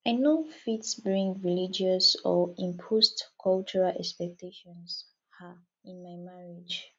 i no fit bring religious or imposed cultural expectations um in my marriage